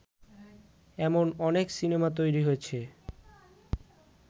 এমন অনেক সিনেমা তৈরী হয়েছে